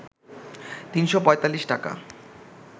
৩৪৫ টাকা